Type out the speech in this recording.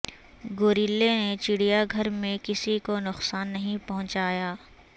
گوریلے نے چڑیا گھر میں کسی کو نقصان نہیں پہنچایا